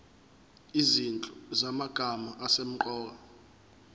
izinhlu zamagama asemqoka